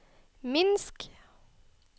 Minsk